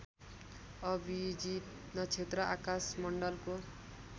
अभिजित नक्षत्र आकाशमण्डलको